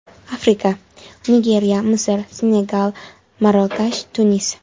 Afrika: Nigeriya, Misr, Senegal, Marokash, Tunis.